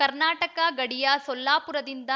ಕರ್ನಾಟಕ ಗಡಿಯ ಸೊಲ್ಲಾಪುರದಿಂದ